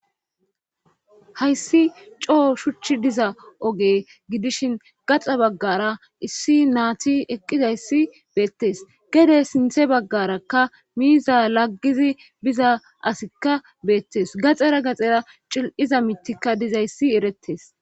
hayssi coo shuchchi diza oge gidishin gaxa baggara issi naati eqqidayssi beettes gede sinthe baggarakka miiza laggizi biza asikka beettes gaxera gaxera cil7iza mitika dizayssi eretes